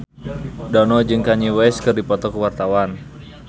Dono jeung Kanye West keur dipoto ku wartawan